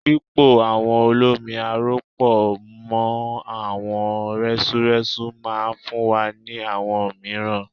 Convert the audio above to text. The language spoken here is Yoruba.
Pípo awọ olómi aró pọ̀ mọ́ àwọ̀ rẹ́súrẹ́sú máa fún wa ní àwọ̀ mìíràn.